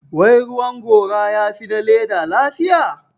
Wai ruwan gora ya fi na leather lafiya?